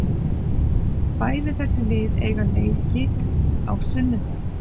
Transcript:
Bæði þessi lið eiga leiki á sunnudag.